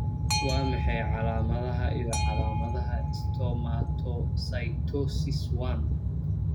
Waa maxay calaamadaha iyo calaamadaha Stomatocytosis I?